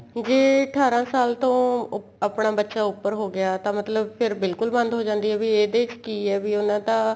ਜੇ ਅਠਾਰਾ ਸਾਲ ਤੋਂ ਆਪਣਾ ਬੱਚਾ ਉਪਰ ਹੋ ਗਿਆ ਤਾਂ ਮਤਲਬ ਫੇਰ ਬਿਲਕੁਲ ਬੰਦ ਹੋ ਜਾਂਦੀ ਏ ਵੀ ਇਹਦੇ ਚ ਕੀ ਏ ਵੀ ਉਹਨਾ ਦਾ